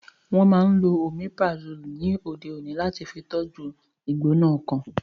Wọ́n máa n lo Omeprazole ni òde òní láti fi tọ́jú u ìgbóná ọkàn